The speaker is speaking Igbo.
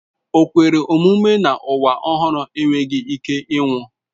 O kwere omume na nwa ọhụrụ nwere ike ịnwụ.